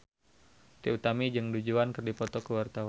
Trie Utami jeung Du Juan keur dipoto ku wartawan